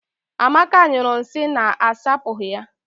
Amaka nyụrụ nsị na-asapụghị ya.